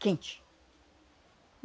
Quente.